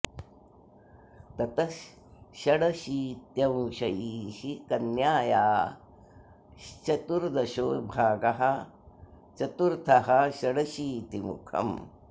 ततः षड शीत्यंशैः कन्याया श्चतुर्दशो भागः चतुर्थः षडशीतिमुखम्